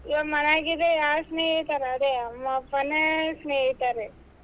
ಇವಾಗ ಮನ್ಯಾಗಿದೆ ಯಾರ್ ಸ್ನೇಹಿತ ಅದೇ ಅಮ್ಮ ಅಪ್ಪನೇ ಸ್ನೇಹಿತರೆ.